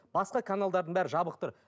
басқа каналдарының бәрі жабық тұр